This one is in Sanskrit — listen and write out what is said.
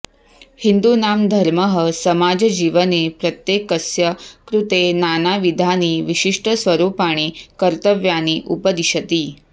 हिन्दूनां धर्मः समाजजीवने प्रत्येकस्य कृते नानाविधानि विशिष्टस्वरुपाणि कर्तव्यानि उपदिशति